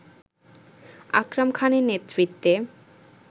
আকরাম খানের নেতৃত্বে